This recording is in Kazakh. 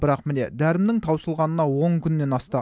бірақ міне дәрімнің таусылғанына он күннен асты